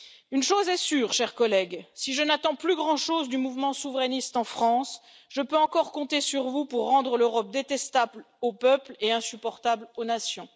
Une chose est sûre, chers collègues, si je n'attends plus grand chose du mouvement souverainiste en France, je peux encore compter sur vous pour rendre l'Europe détestable aux peuples et insupportable aux nations.